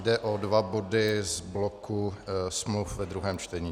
Jde o dva body z bloku smluv ve druhém čtení.